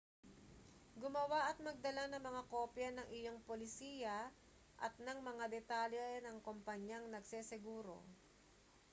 gumawa at magdala ng mga kopya ng iyong polisiya at ng mga detalye ng kompanyang nagseseguro